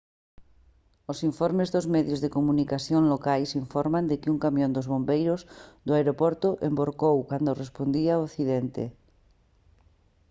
os informes dos medios de comunicación locais informan de que un camión dos bombeiros do aeroporto envorcou cando respondía ao accidente